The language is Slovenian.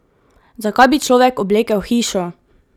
Zakaj bi človek oblekel hišo?